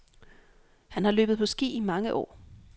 Han har løbet på ski i mange år.